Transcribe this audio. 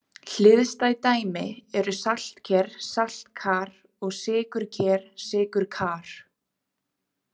Hliðstæð dæmi eru saltker-saltkar og sykurker-sykurkar.